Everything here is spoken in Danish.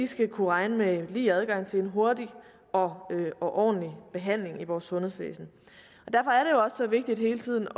skal kunne regne med lige adgang til en hurtig og ordentlig behandling i vores sundhedsvæsen derfor er så vigtigt hele tiden